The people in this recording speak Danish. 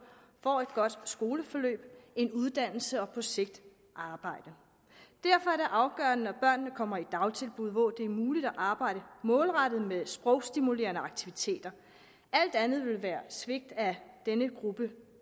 får et godt skoleforløb en uddannelse og på sigt arbejde derfor er det afgørende at børnene kommer i dagtilbud hvor det er muligt at arbejde målrettet med sprogstimulerende aktiviteter alt andet ville være svigt af denne gruppe